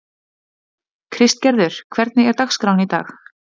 Kristgerður, hvernig er dagskráin í dag?